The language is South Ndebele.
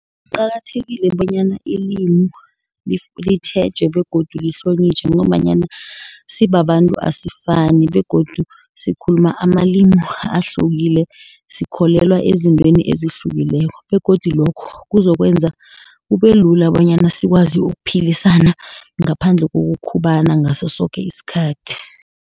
Kuqakathekile bonyana ilimi, litjhejwe, begodu lihlonitjhwe ngombanyana sibabantu asisafani, begodu sikhuluma amalimi ahlukile, sikholelwa ezintweni ezihlukileko, begodu lokho kuzokwenza kube lula, bonyana sikwazi ukuphilisana ngaphandle kokukhubala ngaso soke isikhathi.